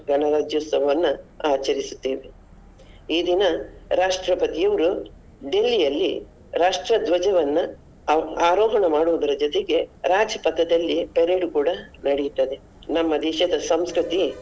ಗಣರಾಜ್ಯೋತ್ಸವವನ್ನ ಆಚರಿಸುತ್ತೇವೆ. ಈ ದಿನ ರಾಷ್ಟ್ರಪತಿಯವ್ರು Delhi ಅಲ್ಲಿ ರಾಷ್ಟ್ರ ಧ್ವಜವನ್ನ ಆ~ ಆರೋಹಣ ಮಾಡುದರ ಜೊತೆಗೆ Rajpath ದಲ್ಲಿ parade ಕೂಡ ನಡಿತದೆ ನಮ್ಮ ದೇಶದ ಸಂಸ್ಕೃತಿ.